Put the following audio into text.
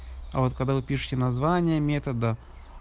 а вот когда вы пишите название метода